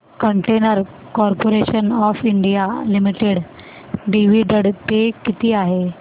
container corporation of India limited dividend pay किती आहे